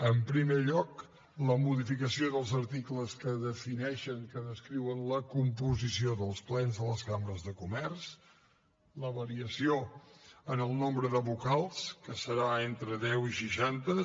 en primer lloc la modificació dels articles que defineixen que descriuen la composició dels plens de les cambres de comerç la variació en el nombre de vocals que serà entre deu i seixanta